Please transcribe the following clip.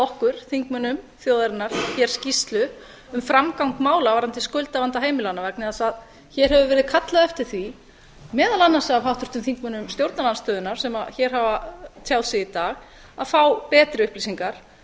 okkur þingmönnum þjóðarinnar skýrslu um framgang mála um skuldavanda heimilanna hér hefur verið kallað eftir því meðal annars af háttvirtum þingmönnum stjórnarandstöðunnar sem hér hafa tjáð sig í dag að fá betri upplýsingar